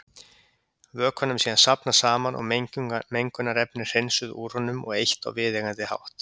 Vökvanum er síðan safnað saman og mengunarefni hreinsuð úr honum og eytt á viðeigandi hátt.